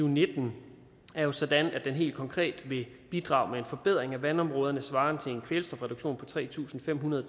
og nitten er jo sådan at den helt konkret vil bidrage med en forbedring af vandområderne svarende til en kvælstofreduktion på tre tusind fem hundrede